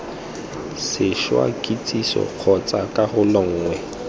sešwa kitsiso kgotsa karolo nngwe